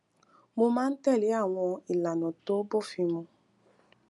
mo máa ń tèlé àwọn ìlànà tó bófin mu